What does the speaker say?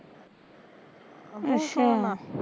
ਅੱਛਾ